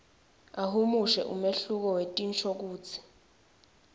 ahumushe umehluko wetinshokutsi